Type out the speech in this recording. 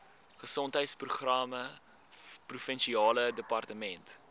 gesondheidsprogramme provinsiale departement